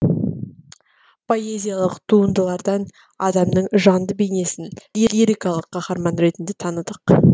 поэзиялық туындылардан адамның жанды бейнесін лирикалық қаһарман ретінде таныдық